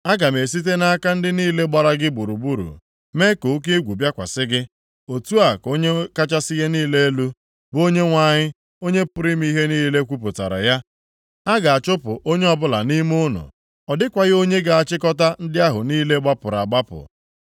Aga m esite nʼaka ndị niile gbara gị gburugburu mee ka oke egwu bịakwasị gị,” otu a ka Onye kachasị ihe niile elu, bụ Onyenwe anyị, Onye pụrụ ime ihe niile kwupụtara ya, “A ga-achụpụ onye ọbụla nʼime unu. Ọ dịkwaghị onye ga-achịkọta ndị ahụ niile gbapụrụ agbapụ.